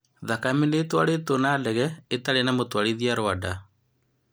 Thakame nĩitwarĩtwo na ndege itarĩ na mũtwarithia Rwanda